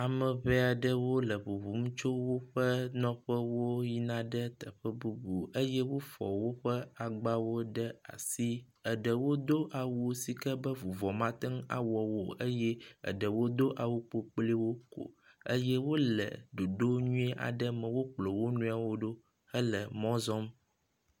Ame ŋee aɖewo le ŋuŋum tso woƒe nɔƒewo yina ɖe teƒe nunu eye woƒe woƒe agbawo ɖe asi. Eɖewo do awu sike be vuvɔ mate ŋu awɔ wo o eye eɖewo do awu kpokploewo ko eye wo le ɖoɖo nyui aɖe me wokplɔ wo nɔewo ɖo ko wo le mɔ zɔm.